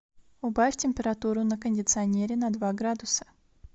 убавь температуру на кондиционере на два градуса